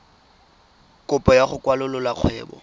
kopo ya go kwalolola kgwebo